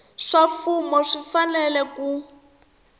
swa mfumo swi fanele ku